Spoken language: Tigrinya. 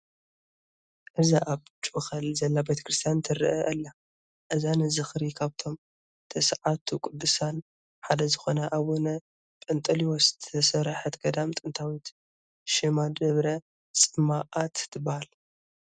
እዛ ኣብ ጩኸል ዘላ ቤተ ክርስቲያን ትርአ ኣላ፡፡ እዛ ንዝኽሪ ካብቶም ተስዓቱ ቅዱሳን ሓደ ዝኾኑ ኣቡነ ጰንጠሌዎን ዝተሰርሐት ገዳም ጥንታዊ ሽማ ደብረ ጾማእት ትበሃል፡፡